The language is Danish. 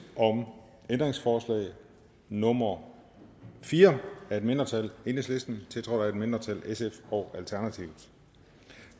om ændringsforslag nummer fire af et mindretal tiltrådt af et mindretal og